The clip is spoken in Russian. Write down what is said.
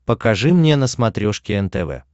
покажи мне на смотрешке нтв